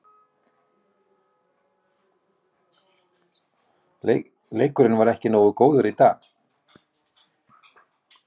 Leikurinn var ekki nógu góður í dag.